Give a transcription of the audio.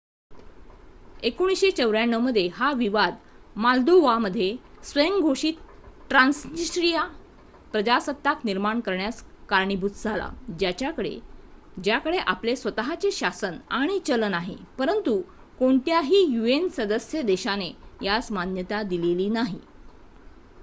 1994 मध्ये हा विवाद मोल्दोवा मध्ये स्वयंघोषित ट्रान्सनिस्त्रीया प्रजासत्ताक निर्माण करण्यास कारणीभूत झाला ज्याकडे आपले स्वत:चे शासन आणि चलन आहे परंतु कोणत्याही यूएन सदस्य देशाने यास मान्यता दिलेली नाही